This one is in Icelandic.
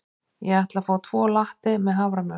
Ég ætla að fá tvo latte með haframjólk.